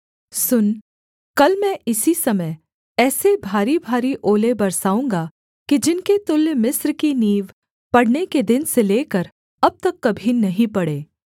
सुन कल मैं इसी समय ऐसे भारीभारी ओले बरसाऊँगा कि जिनके तुल्य मिस्र की नींव पड़ने के दिन से लेकर अब तक कभी नहीं पड़े